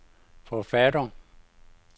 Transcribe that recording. forfattere